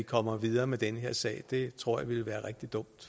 kommer videre med den her sag det tror jeg ville være rigtig dumt